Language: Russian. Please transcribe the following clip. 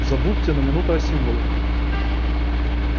забудьте на минуту о символах